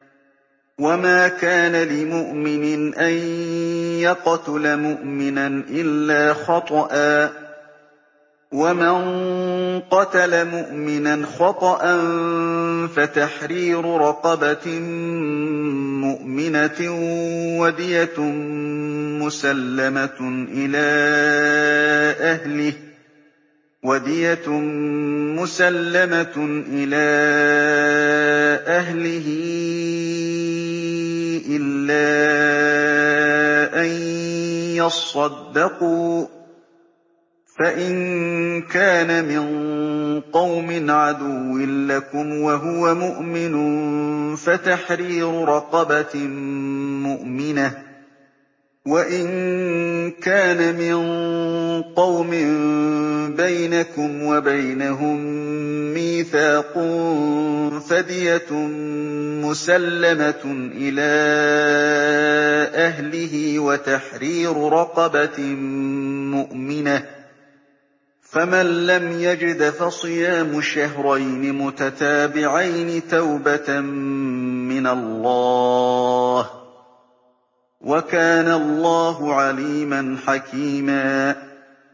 وَمَا كَانَ لِمُؤْمِنٍ أَن يَقْتُلَ مُؤْمِنًا إِلَّا خَطَأً ۚ وَمَن قَتَلَ مُؤْمِنًا خَطَأً فَتَحْرِيرُ رَقَبَةٍ مُّؤْمِنَةٍ وَدِيَةٌ مُّسَلَّمَةٌ إِلَىٰ أَهْلِهِ إِلَّا أَن يَصَّدَّقُوا ۚ فَإِن كَانَ مِن قَوْمٍ عَدُوٍّ لَّكُمْ وَهُوَ مُؤْمِنٌ فَتَحْرِيرُ رَقَبَةٍ مُّؤْمِنَةٍ ۖ وَإِن كَانَ مِن قَوْمٍ بَيْنَكُمْ وَبَيْنَهُم مِّيثَاقٌ فَدِيَةٌ مُّسَلَّمَةٌ إِلَىٰ أَهْلِهِ وَتَحْرِيرُ رَقَبَةٍ مُّؤْمِنَةٍ ۖ فَمَن لَّمْ يَجِدْ فَصِيَامُ شَهْرَيْنِ مُتَتَابِعَيْنِ تَوْبَةً مِّنَ اللَّهِ ۗ وَكَانَ اللَّهُ عَلِيمًا حَكِيمًا